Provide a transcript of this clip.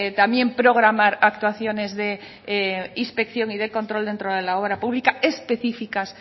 también programar actuaciones de inspección y de control dentro de la obra pública específicas